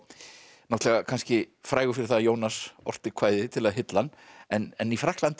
náttúrulega kannski frægur fyrir það að Jónas orti kvæði til að hylla hann en í Frakklandi